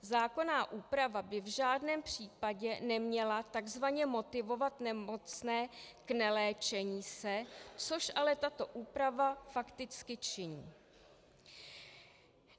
Zákonná úprava by v žádném případě neměla takzvaně motivovat nemocné k neléčení se, což ale tato úprava fakticky činí.